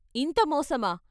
ఇంత మోసమా.